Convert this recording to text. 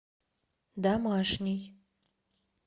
домашний